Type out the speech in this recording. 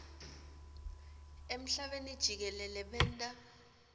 emhlabeni jikelele benta